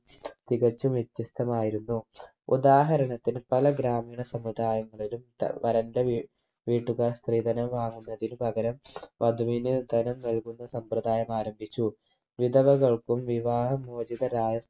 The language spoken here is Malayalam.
തികച്ചും വ്യത്യസ്തമായിരുന്നു ഉദാഹരണത്തിന് പല ഗ്രാമീണ സമുദായങ്ങളിലും ത വരന്റെ വീ വീട്ടുകാർ സ്ത്രീധനം വാങ്ങുന്നതിന് പകരം വധുവിന് ധനം നൽകുന്ന സമ്പ്രദായം ആരംഭിച്ചു വിധവകൾക്കും വിവാഹ മോചിതരായ